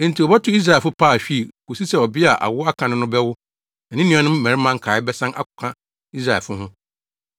Enti wobɛto Israelfo paahwii, kosi sɛ ɔbea a awo aka no no bɛwo na ne nuanom mmarima nkae bɛsan akɔka Israelfo ho.